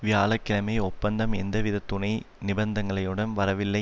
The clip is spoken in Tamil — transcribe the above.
வியாழ கிழமை ஒப்பந்தம் எந்தவித துணை நிபந்தனைகளுடனும் வரவில்லை